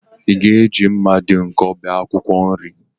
Ị ga-eji mma dị nkọ bee akwụkwọ nri?